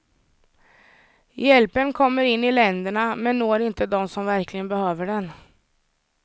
Hjälpen kommer in i länderna men når inte dem som verkligen behöver den.